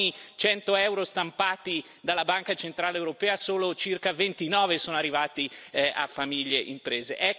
Per ogni cento euro stampati dalla Banca centrale europea, solo circa 29 sono arrivati a famiglie e imprese.